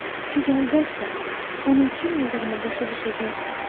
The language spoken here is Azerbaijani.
siz əlbəttə onun kim olduğunu başa düşəcəksiniz.